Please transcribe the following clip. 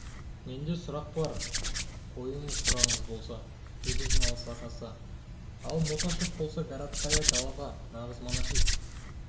менде сұрақ бар қойыңыз сұрағыңыз болса деді жиналыс ағасы ал мотяшев болса городская голова нағыз монархист